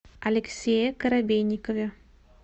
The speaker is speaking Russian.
алексее коробейникове